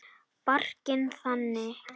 Barkinn þaninn.